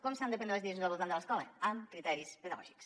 com s’han de prendre les decisions al voltant de l’escola amb criteris pedagògics